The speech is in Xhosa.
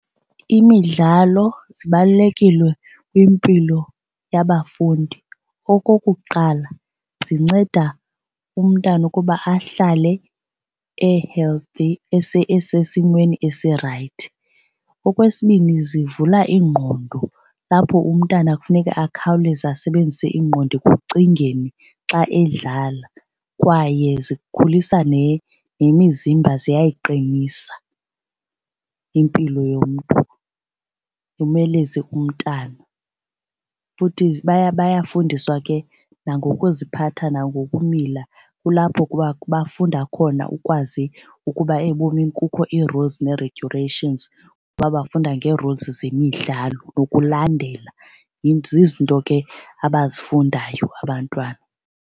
Imidlalo zibalulekile kwimpilo yabafundi. Okokuqala, zinceda umntana ukuba ahlale e-healthy esesimeni esi-right. Okwesibini, zivula iingqondo lapho umntana kufuneka akhawuleze asebenzise ingqondo ekucingeni xa edlala kwaye zikhulisa nemizimba ziyayiqinisa impilo yomntu umeleze umntana. Futhi bayafundiswa ke nangokuziphatha nangokumila kulapho bafunda khona ukwazi ukuba ebomini kukho i-rules ne-regulation ukuba bafunda nge-rules zemidlalo nokulandela. Zizinto ke abazifundayo abantwana.